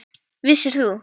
Vissir þú.